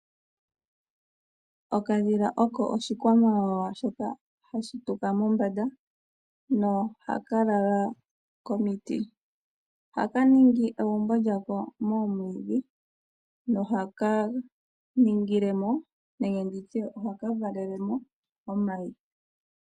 Okadhila oko oshikwamawawa shoka hashi tuka mombanda nohaka lala komiti. Ohaka ningi egumbo lyako moomwiidhi nohaka valele mo omayi.